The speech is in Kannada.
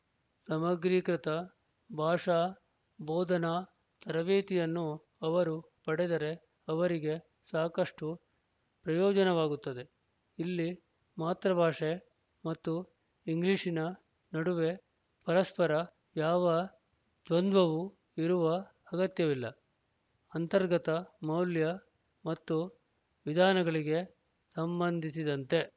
ಸಮಗ್ರೀಕೃತ ಭಾಷಾ ಬೋಧನಾ ತರಬೇತಿಯನ್ನು ಅವರು ಪಡೆದರೆ ಅವರಿಗೆ ಸಾಕಷ್ಟು ಪ್ರಯೋಜನವಾಗುತ್ತದೆ ಇಲ್ಲಿ ಮಾತೃಬಾಷೆ ಮತ್ತು ಇಂಗ್ಲಿಶಿನ ನಡುವೆ ಪರಸ್ಪರ ಯಾವ ದ್ವಂದ್ವವು ಇರುವ ಅಗತ್ಯವಿಲ್ಲ ಅಂತರ್ಗತ ಮೌಲ್ಯ ಮತ್ತು ವಿಧಾನಗಳಿಗೆ ಸಂಬಂಧಿಸಿದಂತೆ